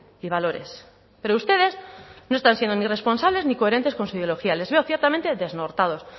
y valores pero ustedes no están siendo ni responsables ni coherentes con su ideología les veo ciertamente desnortados